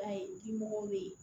Ba ye dimɔgɔw be ye